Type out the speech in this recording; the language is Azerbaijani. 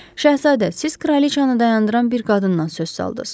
Şahzadə, siz kraliçanı dayandıran bir qadından söz açdınız.